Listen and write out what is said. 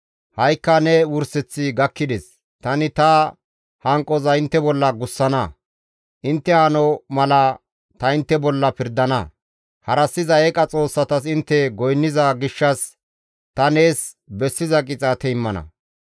Ha7ikka ne wurseththi gakkides! Tani ta hanqoza intte bolla gussana; intte hano mala ta intte bolla pirdana; harassiza eeqa xoossatas intte goynniza gishshas ta nees bessiza qixaate immana.